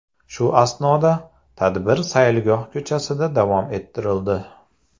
Shu asnoda tadbir saylgoh ko‘chasida davom ettirildi.